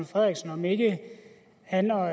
frederiksen om ikke han og